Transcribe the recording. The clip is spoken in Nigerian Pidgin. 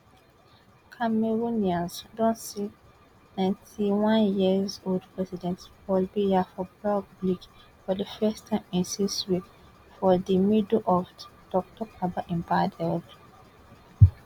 cameroonians don see nintey one years old president paul biya for public for di first time in six weeks for di middle of toktok about im bad health